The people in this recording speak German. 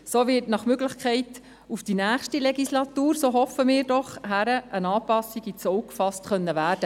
So wird nach Möglichkeit auf die nächste Legislatur hin – so hoffen wir doch – eine Anpassung ins Auge gefasst werden.